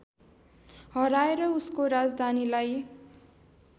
हराएर उसको राजधानीलाई